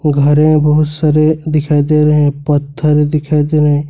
घर हैं बहुत सारे दिखाई दे रहे हैं पत्थर दिखाई दे रहे हैं।